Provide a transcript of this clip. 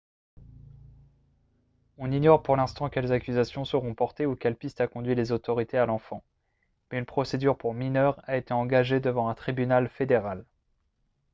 on ignore pour l'instant quelles accusations seront portées ou quelle piste a conduit les autorités à l'enfant mais une procédure pour mineurs a été engagée devant un tribunal fédéral